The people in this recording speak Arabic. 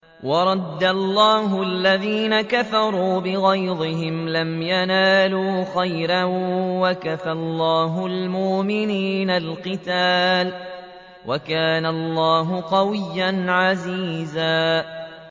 وَرَدَّ اللَّهُ الَّذِينَ كَفَرُوا بِغَيْظِهِمْ لَمْ يَنَالُوا خَيْرًا ۚ وَكَفَى اللَّهُ الْمُؤْمِنِينَ الْقِتَالَ ۚ وَكَانَ اللَّهُ قَوِيًّا عَزِيزًا